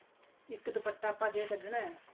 ਇੱਕ ਦੁਪੱਟਾ ਜੇ ਆਪਾਂ ਕਢਣਾ